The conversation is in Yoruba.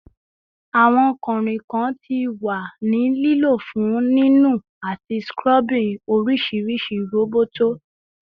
Awọn kanrinkan ti wa ni lilo fun ninu ati scrubbing orisirisi roboto